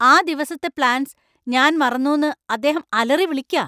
ആ ദിവസത്തെ പ്ലാൻസ് ഞാൻ മറന്നുന്ന് അദ്ദേഹം അലറിവിളിക്കാ.